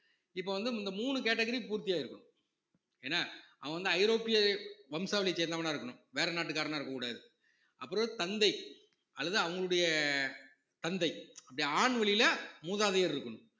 இப்ப வந்து இந்த மூணு category பூர்த்தியாயிருக்கனும் என்ன அவன் வந்து ஐரோப்பிய வம்சாவளியை சேர்ந்தவனா இருக்கணும் வேற நாட்டுக்காரனா இருக்கக்கூடாது அப்புறம் தந்தை அல்லது அவங்களுடைய தந்தை அப்படி ஆண்வழியில மூதாதையர் இருக்கணும்